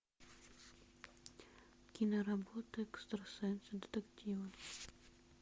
киноработа экстрасенсы детективы